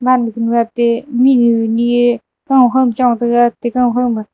ma luknu atte mihnu ni ye kau khoma chong taga atte gang khoma.